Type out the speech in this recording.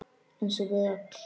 Eins og við öll.